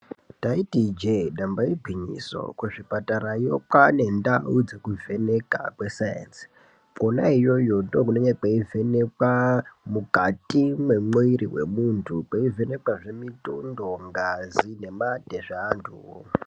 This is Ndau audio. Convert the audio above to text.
Taiti ijee damba igwinyiso, kuzvipatarayo kwaane ndau dzekuvheneka kwesainzi. Kwona iyoyo ndiko kunovhenekwa mukati memuntu. Kweivhenekwazve mutundo, ngazi nemate zveantuwo.